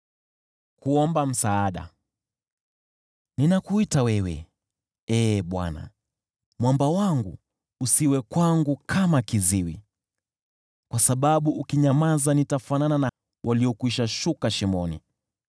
Ninakuita wewe, Ee Bwana , Mwamba wangu; usiwe kwangu kama kiziwi. Kwa sababu ukinyamaza nitafanana na walioshuka shimoni.